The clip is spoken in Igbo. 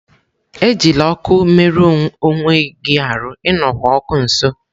Ejila okụ me rue onweghi aru!, E nokwá okụ nso.